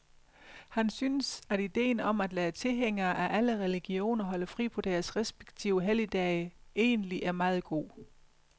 Han synes, at idéen om at lade tilhængere af alle religioner holde fri på deres respektive helligdage egentlig er meget god.